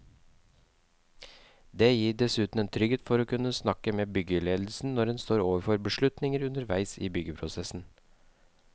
Det gir dessuten en trygghet å kunne snakke med byggeledelsen når en står overfor beslutninger underveis i byggeprosessen.